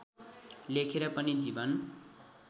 लेखेर पनि जीवन